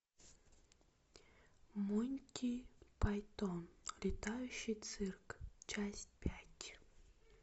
монти пайтон летающий цирк часть пять